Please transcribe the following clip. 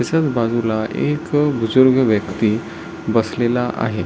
त्याच्याच बाजूला एक बुजुर्ग व्यक्ति बसलेला आहे.